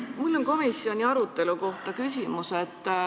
Mul on komisjoni arutelu kohta küsimus.